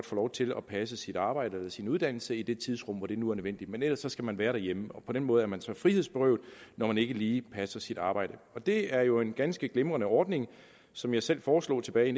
få lov til at passe sit arbejde eller sin uddannelse i det tidsrum hvor det nu er nødvendigt men ellers skal man være derhjemme og på den måde er man så frihedsberøvet når man ikke lige passer sit arbejde det er jo en ganske glimrende ordning som jeg selv foreslog tilbage i